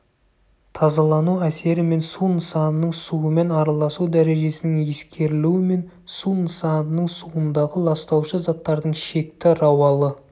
тазалану әсері мен су нысанының суымен араласу дәрежесінің ескерілуімен су нысанының суындағы ластаушы заттардың шекті рауалы